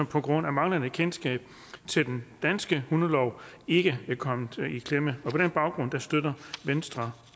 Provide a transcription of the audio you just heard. på grund af manglende kendskab til den danske hundelov ikke kommer i klemme på den baggrund støtter venstre